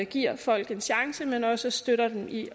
give folk en chance men også støtte dem i